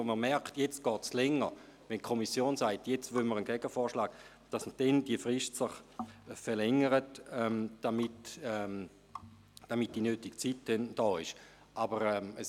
Wenn man merkt, dass es länger dauert, weil die Kommission einen Gegenvorschlag möchte, verlängert sich die Frist, damit die benötigte Zeit vorhanden ist.